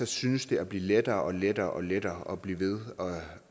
synes det at blive lettere og lettere og lettere at blive ved